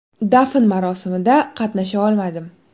Dafn marosimida qatnasha olmadim.